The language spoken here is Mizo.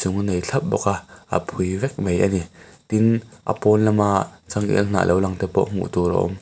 a nei thlap bawk a a phui vek mai a ni tin a pawn lama changel hnah lo lang te pawh hmuh tur a awm.